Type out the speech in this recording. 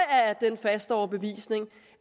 er af den faste overbevisning